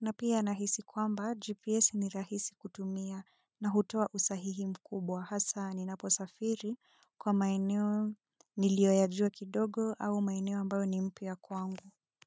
Na pia nahisi kwamba GPS ni rahisi kutumia na hutoa usahihi mkubwa hasa ninaposafiri kwa maeneo niliyoyajua kidogo au maeneo ambayo ni mpya kwangu.